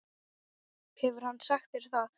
Hefur hann sagt þér það?